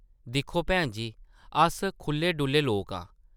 दिक्खो भैन जी, अस खुʼल्ले-डुʼल्ले लोक आं ।